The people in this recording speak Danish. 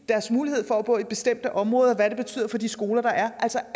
deres mulighed for at bo i bestemte områder og hvad det betyder for hvilke skoler der er altså